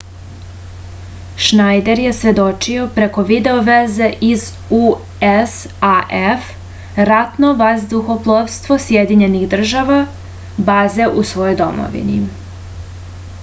шнајдер је сведочио преко видео везе из usaf ратно вадухопловство сједињених дражава базе у својој домовини